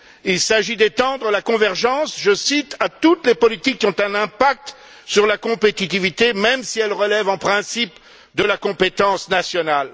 Il s'agit d'étendre la convergence, je cite, à toutes les politiques qui ont un impact sur la compétitivité, même si elles relèvent en principe de la compétence nationale.